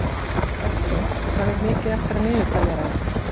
Októ, hvað er mikið eftir af niðurteljaranum?